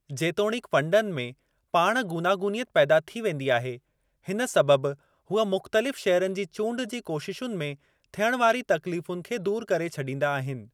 जेतोणीक फंडनि में पाण गूनागूनियत पैदा थी वेंदी आहे, हिन सबबि हूअ मुख़्तलिफ़ शेयरनि जी चूंड जी कोशिशुनि में थीयणु वारी तकलीफ़ुनि खे दूर करे छॾींदा आहिनि।